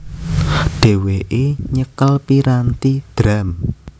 Dhewéke nyekel piranthi drum